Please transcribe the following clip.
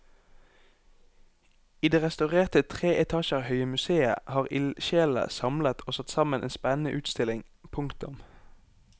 I det restaurerte tre etasjer høye museet har ildsjelene samlet og satt sammen en spennende utstilling. punktum